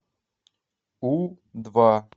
у два